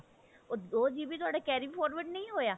ਉਹ ਦੋ GB ਤੁਹਾਡਾ carry forward ਨਹੀ ਹੋਇਆ